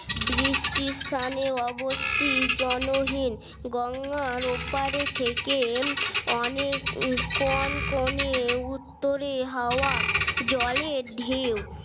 বৃষ্টির সানে অবস্তি জনহীন গঙ্গা ওপারে থেকে অনেক কনকনে উত্তরে হাওয়া জলে ঢেউ